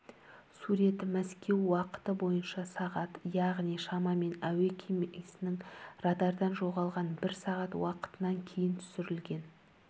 сурет мәскеу уақыты бойынша сағат яғни шамамен әуе кемесінің радардан жоғалған бір сағат уақытынан кейін түсірілген